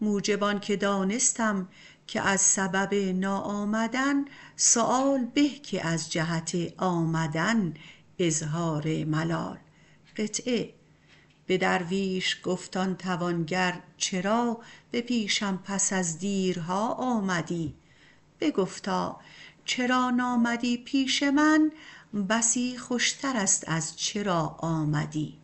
موجب آنکه دانستم که از سبب ناآمدن سؤال به که از جهت آمدن اظهار ملال به درویش گفت آن توانگر چرا به پیشم پس از دیرها آمدی بگفتا چرا نامدی پیش من بسی خوشتر است از چرا آمدی